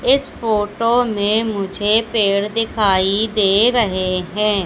इस फोटो में मुझे पेड़ दिखाई दे रहे है।